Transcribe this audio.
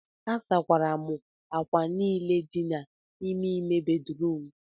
asakwara m ákwà niile dị n'ime ime bedrum